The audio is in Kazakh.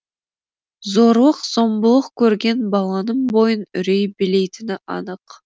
зорлық зомбылық көрген баланың бойын үрей билейтіні анық